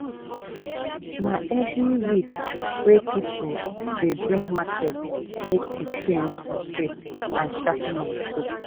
na every week wey pipul dey bring machete make we change de shape and sharpen am too.